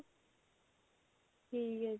ਠੀਕ ਹੈ ਜੀ